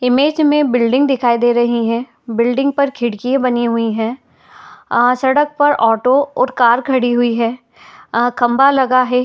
Image में building दिखाई दे रही है | बिल्डिंग पर खिड़की बनी हुई हैं | अ सडक पर ऑटो और कार खड़ी हुई हैं | अ खंबा लगा है।